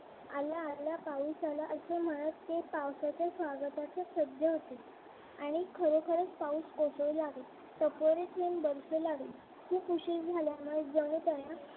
आला आला पाऊस आला असं म्हणत ते पावसाच्या स्वागतास सज्ज होते आणि खर खरं पाऊस कोसळू लागला टपोरे थेंब बरसू लागले खूप उशीर झाल्यामुळे जणू त्यांना